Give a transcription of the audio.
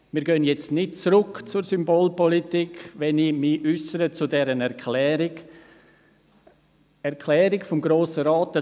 Wir gehen jetzt nicht zurück zur Symbolpolitik, wenn ich mich zur Erklärung des Grossen Rates äussere.